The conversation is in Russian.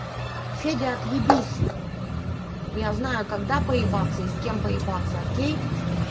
федя отъебись я знаю когда поебаться и с кем поебаться окей